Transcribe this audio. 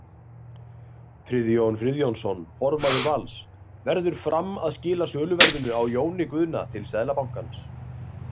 Friðjón Friðjónsson formaður Vals: Verður Fram að skila söluverðinu á Jóni Guðna til Seðlabankans?